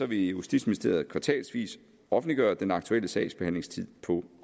vil justitsministeriet kvartalsvis offentliggøre den aktuelle sagsbehandlingstid på